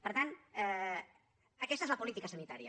per tant aquesta és la política sanitària